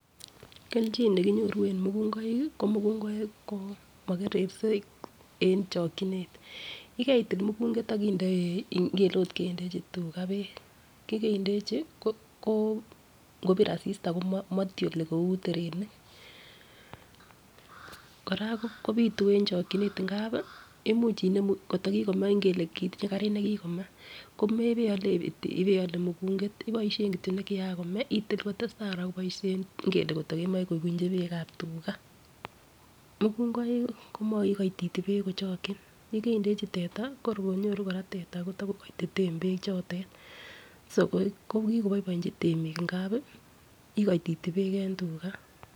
Keljin nekinyoru en mukungoik kii ko mukungoik ko mokerersei en chokinet yekeitil mukunget akinde ingele ot kendechi tugaa beek yekendechi ko ko ngobir asista komotyoli kou terenik. Koraa kopitu en chokinet ngapi imuch inemu kotko kikome ingele kitiye karit nekikome komebeole iole mukunget iboishen kityok nokian komee itil kotesetai Koraa koboishen ingele koto kemoi kobunchi beekab tugaa. Mukungoik komoikoititi beek kochoki yekeidechi teta kokor konyoru Koraa teta Kotor ko koititen beek chotet so ko kikoboibochi temik ngapi ikoititi beek en tugaa.